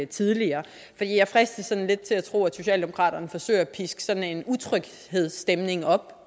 tidligere for jeg fristes lidt til at tro at socialdemokraterne forsøger at piske sådan en utryghedsstemning op